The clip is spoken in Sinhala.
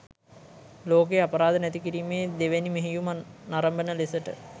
ලෝකයේ අපරාධ නැතිකිරීමේ දෙවැනි මෙහෙයුම නරඔන ලෙසට